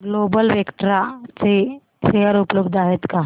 global Vectra चे share उपलब्ध आहेत का